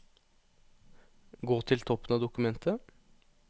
Gå til toppen av dokumentet